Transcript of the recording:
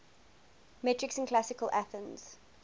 metics in classical athens